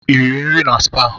I riri nri na spaa?